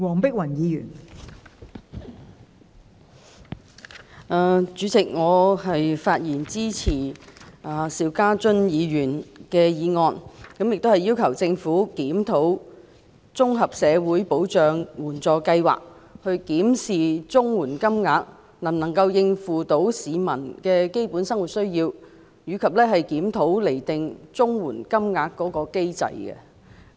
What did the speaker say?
代理主席，我發言支持邵家臻議員的議案，並要求政府檢討綜合社會保障援助計劃，檢視綜援金額是否足以應付市民基本的生活需要，以及檢討釐定綜援金額的機制。